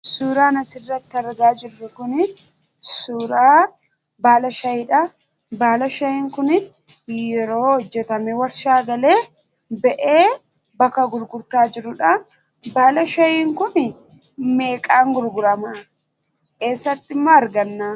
Suuraan asirratti argaa jirru kunii, suuraa baala shaayiidha. Baala shaayiin Kun yeroo hojjetamee warshaa galee ba'e bakka gurgurtaa jirudha. Baala shaayiin Kun meeqaan gurguramaa? Eessatti immoo argannaa?